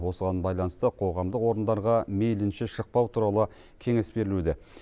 осыған байланысты қоғамдық орындарға мейлінше шықпау туралы кеңес берілуде